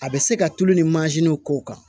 A bɛ se ka tulu ni mansin kow kan